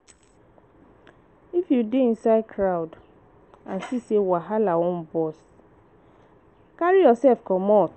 if you dey for inside crowd and see sey wahala wan burst, carry yourself comot